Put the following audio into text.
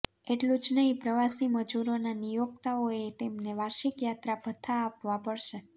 એટલું જ નહિ પ્રવાસી મજૂરોના નિયોક્તાઓએ તેમને વાર્ષિક યાત્રા ભથ્થા આપવાં પડશે